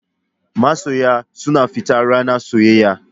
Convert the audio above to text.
Masoya suna fita ranar soyayya.